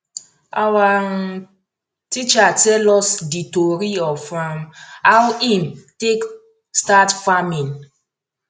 awa um teacher tell us di tori of um how him take start farming